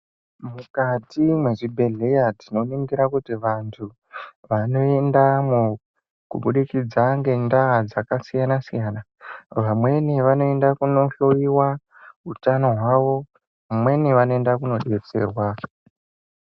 Mukati mwechibhehleya tinoningira kuti vantu vane ndaramo kubudikidza ngenda dzakasiyana siyana. Vamweni vanoenda kohloyiwa utano hwavo, vamweni vanoenda kodetserwa.